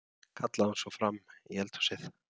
kallaði hún svo fram í eldhúsið.